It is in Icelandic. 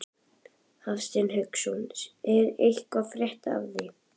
Hafsteinn Hauksson: Er eitthvað að frétta af því?